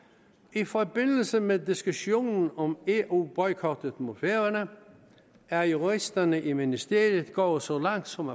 i forbindelse med diskussionen om eu boykotten mod færøerne er juristerne i ministeriet gået så langt som